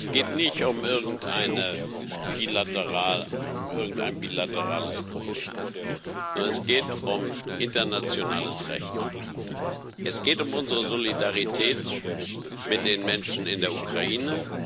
Es geht nicht um irgendein bilaterales Problem, sondern es geht um internationales Recht. Es geht um unsere Solidarität mit den Menschen in der Ukraine.